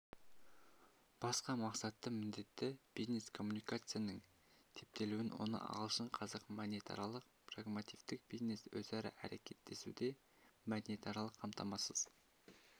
басқа мақсатты міндеті бизнес-коммуникацияның типтелуін оны ағылшын-қазақ мәдениетаралық-прагматиктік бизнес-өзара әрекеттесуде мәдениетаралық қамтамасыз